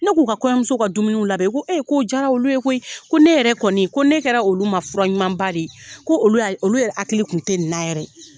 Ne k'u ka kɔɲɔmuso ka dumuniw labɛn, u ko k'o jara olu ye koyi ko ne yɛrɛ kɔni, ko ne kɛra olu ma fura ɲumanba de ye, ko olu olu yɛrɛ hakili kun tɛ ni na yɛrɛ.